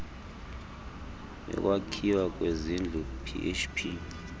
yokwakhiwa kwezindlu php